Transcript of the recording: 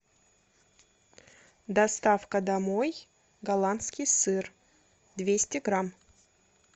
доставка домой голландский сыр двести грамм